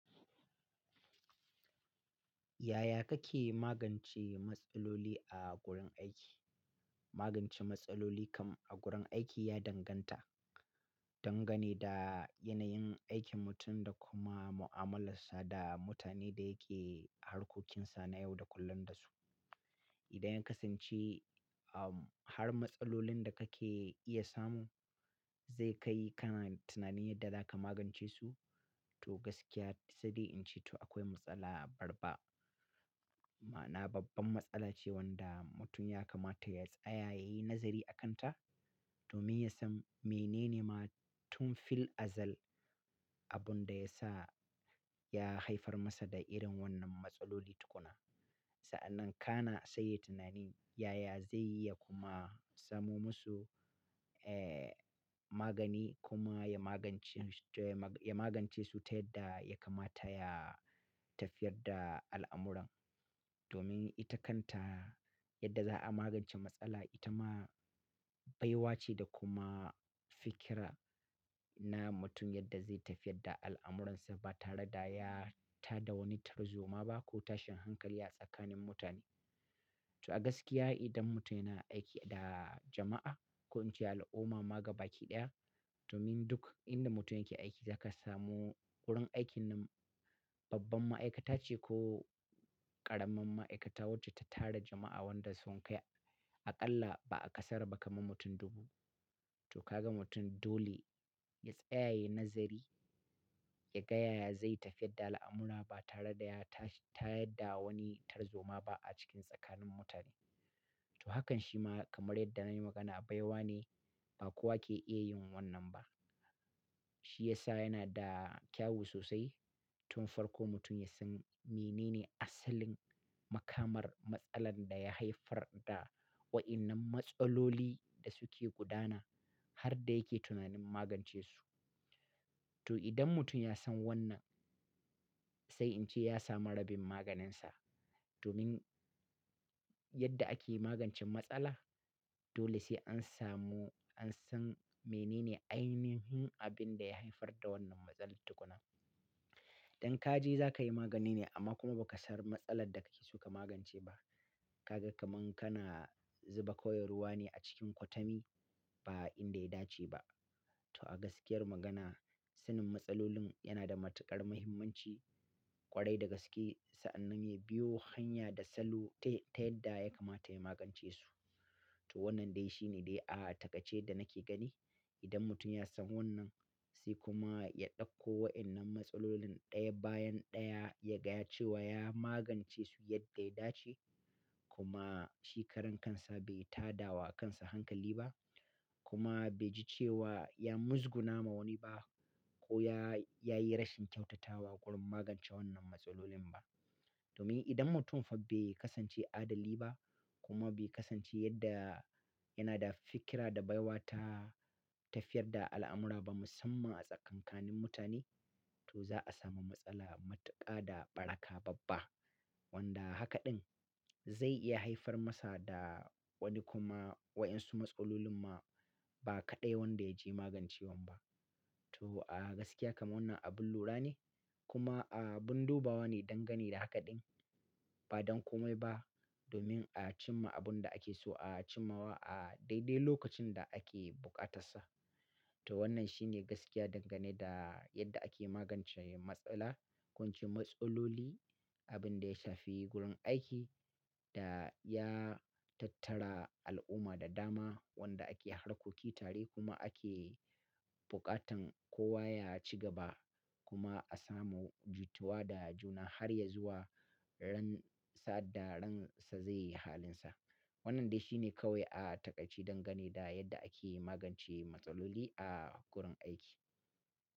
Yaya kake magance matsaloli a gurin aiki? Magance matsaloli kam a gurin aiki ya danganta, dangane da yanayin aikin mutum da kuma mu'amalarsa da mutanen da yake harkokinsa na yau da kullum da su. Idan ya kasance, um, har matsalolin da kake iya samu zai kai kana tunanin yadda zaka magance su, to gaskiya sadai in ce to akwai matsala babba. Ma'ana babban matsala ce wanda mutum ya kamata ya tsaya ya yi nazari a kanta domin ya san menene ma tun fil azal abun da ya sa ya haifar masa da irin wannan matsaloli tukuna. Sa'annan kana sai yai tunani yaya zai yi ya kuma samo musu, eh, magani kuma ya magance su, ya magance su ta yadda ya kamata ya tafiyar da al'amuran. Domin ita kanta yadda za a magance matsala ita ma baiwa ce da kuma fikira na mutum yadda zai tafiyar da al'amuransa ba tare da ya ta da wani tarzoma ba ko tashin hankali a tsakanin mutane. To a gaskiya idan mutum yana aiki da jama'a ko in ce al'umma ma gaba ki ɗaya, to min duk inda mutum yake aiki zaka samu wurin aiki nan babban ma'aikata ce ko ƙaramin ma'aikata wacce ta tara jama'a wanda sun kai aƙalla ba'a ƙasara ba kamar mutum dubu. To ka ga mutum dole ya tsaya ya yi nazari, ya gaya yaya zai tafiyar da al'amura ba tare da ya ta, ta yadda wani tarzoma ba a cikin tsakanin mutane. To hakan shi ma kamar yadda na yi magana baiwa ne ba kowa ke iya yin wannan ba. Shi ya sa yana da kyawu sosai tun farko mutum ya san menene asalin makamar matsalar da ya haifar da waɗannan matsaloli da suke gudana har da yake tunanin magance su. To idan mutum ya san wannan sai in ce ya samu rabin maganin sa domin yadda ake magancen matsala dole sai an samu, an san menene ainihin abin da ya haifar da wannan matsalar tukuna. Idan ka je za ka yi magani ne amma kuma ba ka san matsalar da kake so ka magance ba, ka ga kamar kana zuba koyar ruwa ne a cikin kwatami ba inda ya dace ba. To a gaskiyar magana, sanin matsalolin yana da matuƙar muhimmanci ƙwarai da gaske sa'annan ya biyo hanya da salo ta, ta yadda ya kamata ya magance su. To wannan dai shi ne dai a takardace da nake gani. Idan mutum ya san wannan sai kuma ya ɗauko wa'yan'nan matsalolin ɗaya bayan ɗaya ya gaya cewa ya magance su yadda ya dace kuma shi karan kansa bai taɗawa a kansa hankali ba kuma bai ji cewa ya muzguna ma wani ba ko yayi rashin kyautatawa gurin magance wannan matsalolin ba domin idan mutum fa be kasance adali ba kuma be kasance yadda yana da fikira da baiwa ta tafiyar da al'amura ba musamman a tsakanin mutane, to za a samu matsala matuƙa da ɓaraka babba wanda haka ɗin zai iya haifar masa da wani kuma wayansu matsalolin ma ba kaɗai wanda ya je magancewan ba. To a gaskiya kamar wannan abin lura ne kuma abin dubawa ne dangane da haka ɗin. Badan komai ba, domin a cimma abunda akeso a cimmawa dai dai lokacin da ake bukatassa to wannan shi ne gaskiya dangane da yadda ake magance matsala ko in ce matsaloli, abin da ya shafi gurin aiki da ya tattara al'umma da dama wanda ake harkoki tare kuma ake buƙatan kowa ya ci gaba kuma a samu jituwa da juna har ya zuwa ran sa'ad da ransa zai yi halinsa. Wannan dai shi ne kawai a takaice dangane da yadda ake magance matsaloli a gurin aiki.